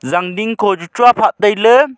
jaan din khochu chuaphah tailey.